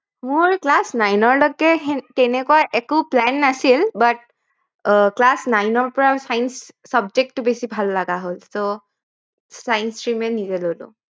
মোৰ Class nine ৰ লৈকে তেনেকুৱা একো plan নাছিল but আহ class nine ৰ পৰা science subject টো বেছি ভাল লগা হল science stream এ নিজে ললো